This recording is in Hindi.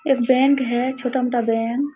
एक बैंक है छोटा-मोटा बैंक ।